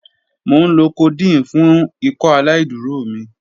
Mo nlo codeine fun Ikọaláìdúró mi.